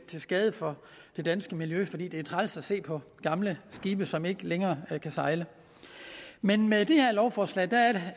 til skade for det danske miljø fordi det er træls at se på gamle skibe som ikke længere kan sejle men med det her lovforslag